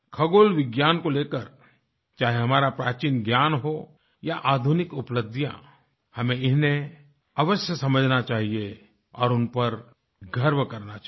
खगोलविज्ञान को लेकर चाहे हमारा प्राचीन ज्ञान हो या आधुनिक उपलब्धियां हमें इन्हें अवश्य समझना चाहिए और उनपर गर्व करना चाहिए